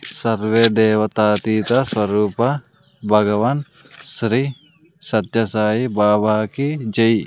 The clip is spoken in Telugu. సర్వే దేవతా తీత స్వరూప భగవాన్ శ్రీ సత్య సాయి బాబా జై.